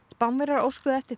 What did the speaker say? Spánverjar óskuðu eftir